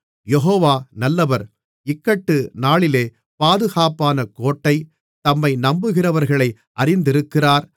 யெகோவா நல்லவர் இக்கட்டு நாளிலே பாதுகாப்பான கோட்டை தம்மை நம்புகிறவர்களை அறிந்திருக்கிறார்